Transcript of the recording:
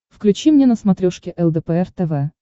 включи мне на смотрешке лдпр тв